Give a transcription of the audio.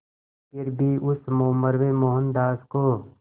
फिर भी उस उम्र में मोहनदास को